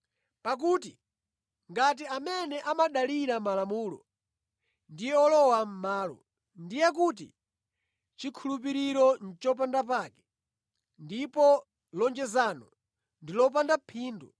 Pakuti ngati amene amadalira Malamulo ndiye olowa mʼmalo, ndiye kuti chikhulupiriro nʼchopanda pake ndipo lonjezano ndi lopanda phindu